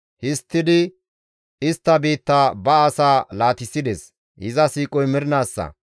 Histtidi istta biitta ba asaa laatissides; iza siiqoy mernaassa.